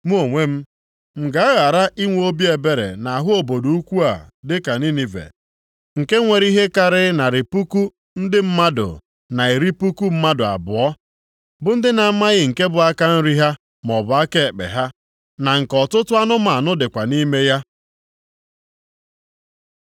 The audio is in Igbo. Mụ onwe m, m ga-aghara inwe obi ebere nʼahụ obodo ukwu a dịka Ninive, nke nwere ihe karịrị narị puku ndị mmadụ na iri puku mmadụ abụọ, bụ ndị na-amaghị nke bụ aka nri ha maọbụ aka ekpe ha, na nke ọtụtụ anụmanụ dịkwa nʼime ya?”